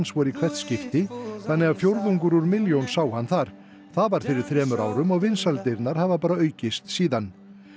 voru í hvert skipti þannig að fjórðungur úr milljón sá hann þar það var fyrir þremur árum og vinsældirnar hafa bara aukist síðan